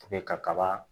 ka kaba